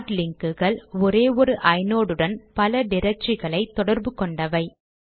heart லிங்க்குகள் ஒரே ஒரு ஐநோட் உடன் பல ட்ரக்டரிகளை தொடர்பு கொண்டவை